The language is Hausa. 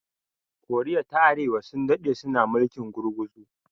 koriya ta arewa sun daɗe suna mulkin gurguzu